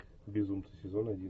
безумцы сезон один